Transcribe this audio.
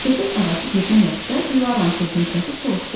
Söhbət arası birdən Lətifə Dilaranın sözünü kəsib soruşdu.